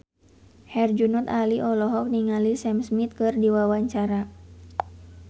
Herjunot Ali olohok ningali Sam Smith keur diwawancara